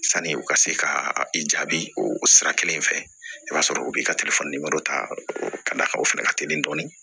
Sani u ka se ka i jaabi o sira kelen fɛ i b'a sɔrɔ u bɛ ka telefɔni de dɔ ta ka d'a kan o fana ka teli dɔɔni